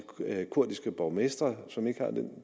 kurdiske borgmestre som ikke har